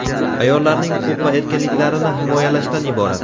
ayollarning huquq va erkinliklarini himoyalashdan iborat.